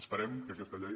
esperem que aquesta llei